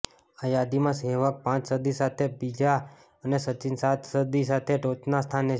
આ યાદીમાં સહેવાગ પાંચ સદી સાથે બીજા અને સચિન સાત સદી સાથે ટોચના સ્થાને છે